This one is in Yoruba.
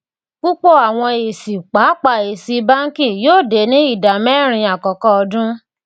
púpọ àwọn èsì pàápàá èsì bánkì yóò dé ní ìdá mẹrin àkọkọ ọdún